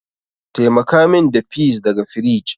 Taimaka min da peas daga firij.